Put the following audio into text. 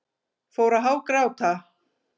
Fór að hágráta.